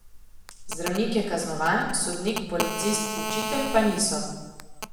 Zdravnik je kaznovan, sodnik, policist, učitelj pa niso.